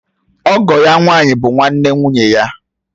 Ọgọ ya nwànyí bụ nwanne nwụnye ya.